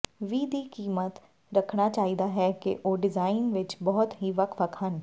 ਵੀ ਦੀ ਕੀਮਤ ਰੱਖਣਾ ਚਾਹੀਦਾ ਹੈ ਕਿ ਉਹ ਡਿਜ਼ਾਇਨ ਵਿੱਚ ਬਹੁਤ ਹੀ ਵੱਖ ਵੱਖ ਹਨ